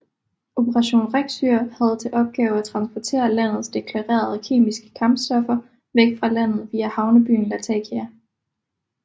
Operation RECSYR havde til opgave at transportere landets deklarerede kemiske kampstoffer væk fra landet via havnebyen Latakia